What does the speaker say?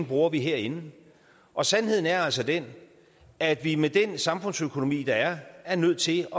bruger herinde og sandheden er altså den at vi med den samfundsøkonomi der er er nødt til